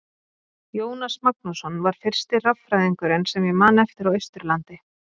Jónas Magnússon var fyrsti raffræðingurinn sem ég man eftir á Austurlandi.